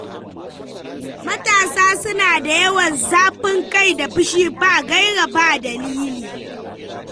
Matasa suna da yawan zafin kai da fushi ba gaira ba dalili.